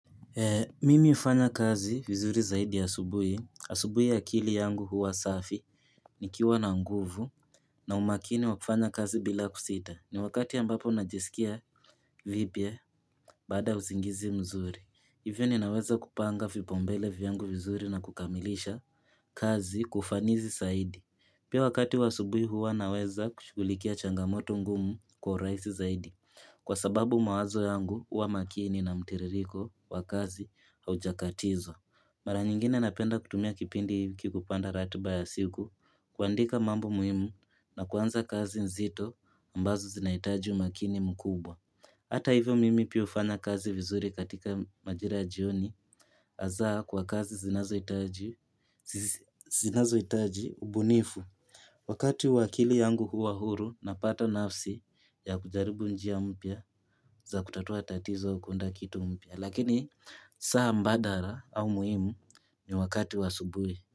Mimi hufanya kazi vizuri zaidi asubuhi, asubuhi akili yangu huwa safi nikiwa na nguvu na umakini wa kufanya kazi bila kusita, ni wakati ambapo najisikia vipya baada ya usingizi mzuri. Hivyo ninaweza kupanga vipaumbele vyangu vizuri na kukamilisha kazi kwa ufanisi zaidi. Pia wakati wa asubuhi huwa naweza kushugulikia changamoto ngumu kwa urahisi zaidi kwa sababu mawazo yangu huwa makini na mtiririko wa kazi haujakatizwa. Mara nyingine napenda kutumia kipindi hiki kupanga ratiba ya siku kuandika mambo muhimu na kuanza kazi nzito mbazo zinahitaji umakini mkubwa. Hata hivyo mimi pia hufanya kazi vizuri katika majira jioni hasa kwa kazi zinazo hitaji ubunifu wakati huo akili yangu huwa huru napata nafsi ya kujaribu njia mpya za kutatua tatizo kuunda kitu mpya lakini saa mbadala au muhimu ni wakati wa asubuhi.